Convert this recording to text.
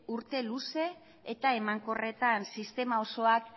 urte luze eta emankorretan sistema osoak